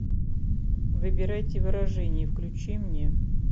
выбирайте выражения включи мне